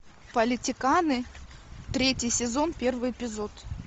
политиканы третий сезон первый эпизод